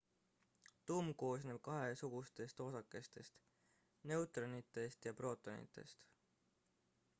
tuum koosneb kahesugustest osakestest neutronitest ja prootonitest